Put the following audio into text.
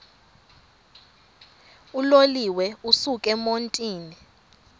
uloliwe ukusuk emontini